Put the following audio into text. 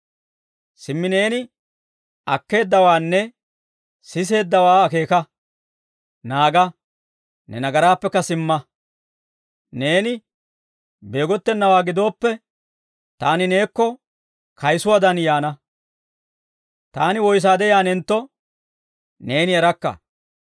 Simmi neeni akkeeddawaanne siseeddawaa akeeka; naaga; ne nagaraappekka simma. Neeni beegottenawaa gidooppe, taani neekko kayisuwaadan yaana; taani woysaade yaanentto neeni erakka.